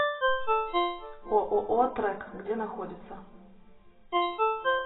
ооо трэк где находится